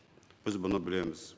біз бұны білеміз